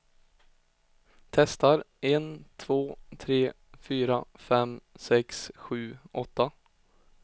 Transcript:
Testar en två tre fyra fem sex sju åtta.